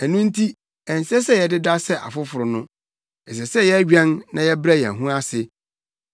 Ɛno nti, ɛnsɛ sɛ yɛdeda sɛ afoforo no. Ɛsɛ sɛ yɛwɛn na yɛbrɛ yɛn ho ase.